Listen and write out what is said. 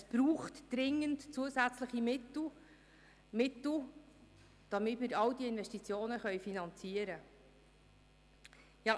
Es braucht dringend zusätzliche Mittel – Mittel, damit wir all diese Investitionen finanzieren können.